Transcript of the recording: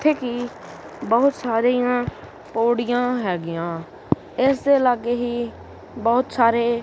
ਜਿੱਥੇ ਕਿ ਬਹੁਤ ਸਾਰੀਆਂ ਪੌੜੀਆਂ ਹੈਗੀਆਂ ਇਸ ਦੇ ਲਾਗੇ ਹੀ ਬਹੁਤ ਸਾਰੇ--